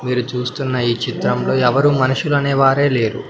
మీరు చూస్తున్న ఈ చిత్రంలో ఎవరు మనుషులనేవారే లేరు.